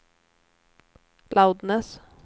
loudness